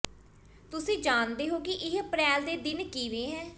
ਤੁਸੀਂ ਜਾਣਦੇ ਹੋ ਕਿ ਇਹ ਅਪ੍ਰੈਲ ਦੇ ਦਿਨ ਕਿਵੇਂ ਹੈ